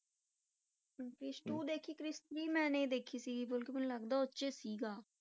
Chris two ਮੈਂ ਦੇਖੀ Krrish three ਮੈਂ ਨਹੀਂ ਦੇਖੀ ਸੀਗੀ, ਮਤਲਬ ਕਿ ਮੈਨੂੰ ਲੱਗਦਾ ਉਹ 'ਚ ਸੀਗਾ।